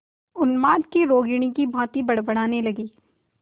उन्माद की रोगिणी की भांति बड़बड़ाने लगी